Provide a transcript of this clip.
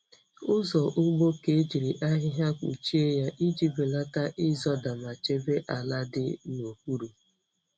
Ụzọ ugbo ka ejiri ahịhịa kpuchie ya iji belata ịzọda ma chebe ala dị n'okpuru.